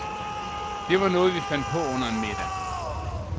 Det var noget, vi fandt på under en middag.